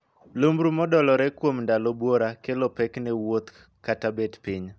Lumbru modolore kuom ndalo buora kelo pek ne wuotho kata bet piny.